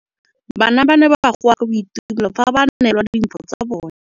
Bana ba ne ba goa ka boitumelo fa ba neelwa dimphô tsa bone.